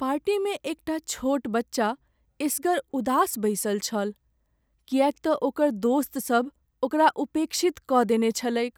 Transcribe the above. पार्टीमे एकटा छोट बच्चा एसगर उदास बैसल छल, कियैक तँ ओकर दोस्तसभ ओकरा उपेक्षित कऽ देने छलैक।